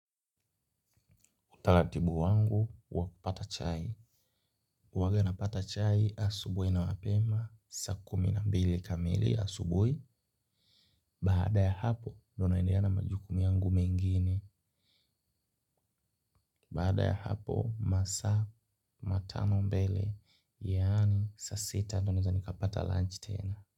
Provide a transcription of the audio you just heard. Utaratibu wangu, wakupata chai. Huwaga napata chai asubuhi na mapema. Saa kumi na mbili kamili asubuhi. Baada ya hapo, ndona endeleana majukumu yangu mengine. Baada ya hapo masaa matano mbele yaani, saasita ndo nawezani kapata lunch tena.